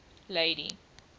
lady